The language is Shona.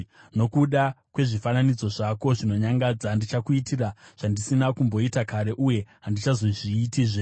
Nokuda kwezvifananidzo zvako zvinonyangadza, ndichakuitira zvandisina kumboita kare uye handichazozviitizve.